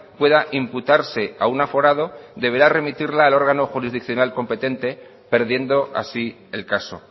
pueda imputarse a un aforado deberá remitirla el órgano jurisdiccional competente perdiendo así el caso